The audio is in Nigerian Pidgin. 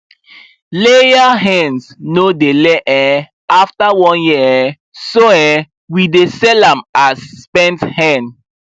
layer hens no dey lay um after one year um so um we dey sell am as spent hen